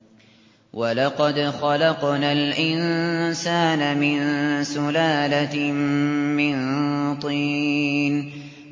وَلَقَدْ خَلَقْنَا الْإِنسَانَ مِن سُلَالَةٍ مِّن طِينٍ